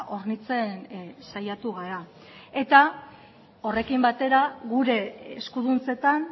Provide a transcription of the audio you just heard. hornitzen saiatu gara eta horrekin batera gure eskuduntzetan